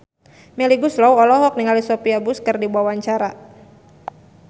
Melly Goeslaw olohok ningali Sophia Bush keur diwawancara